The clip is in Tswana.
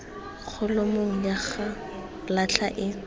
kholomong ya go latlha e